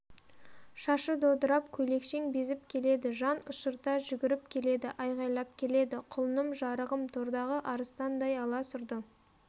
шашы додырап көйлекшең безіп келеді жанұшырта жүгіріп келеді айғайлап келеді құлыным жарығым тордағы арыстандай аласұрды